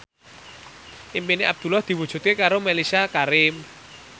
impine Abdullah diwujudke karo Mellisa Karim